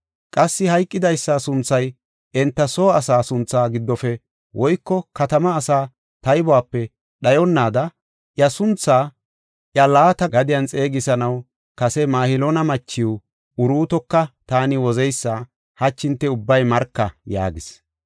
Qassi hayqidaysa sunthay enta soo asaa suntha giddofe woyko katama asaa taybuwape dhayonnaada iya suntha iya laata gadiyan xeegisanaw kase Mahiloona machiw Uruutoka taani wozeysas hachi hinte ubbay marka” yaagis.